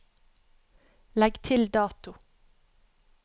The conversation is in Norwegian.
Legg til dato